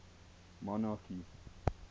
monarchy